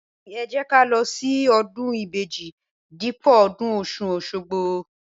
Bẹẹni, ẹjẹ kà lọ ṣi ọdún ìbejí dípò ọdún ọsún òṣogbo